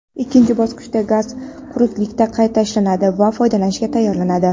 ikkinchi bosqichda gaz quruqlikda qayta ishlanadi va foydalanishga tayyorlanadi.